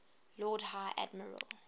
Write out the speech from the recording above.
lord high admiral